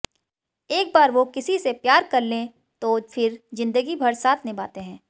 एक बार वो किसी से प्यार कर लें तो फिर जिंदगीभर साथ निभाते हैं